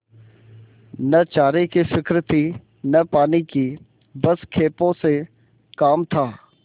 न चारे की फिक्र थी न पानी की बस खेपों से काम था